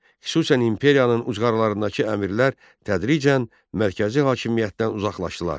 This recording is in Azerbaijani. Xüsusən imperiyanın uclarındakı əmirlər tədricən mərkəzi hakimiyyətdən uzaqlaşdılar.